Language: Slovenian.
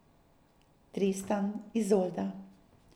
Tristan, Izolda.